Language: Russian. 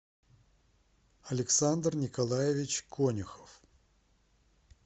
александр николаевич конюхов